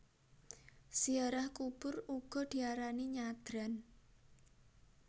Ziarah kubur uga diarani nyadran